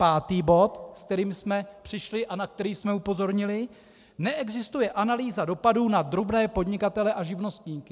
Pátý bod, s kterým jsme přišli a na který jsme upozornili - neexistuje analýza dopadů na drobné podnikatele a živnostníky.